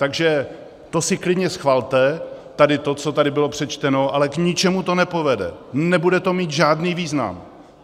Takže to si klidně schvalte, tady to, co tady bylo přečteno, ale k ničemu to nepovede, nebude to mít žádný význam.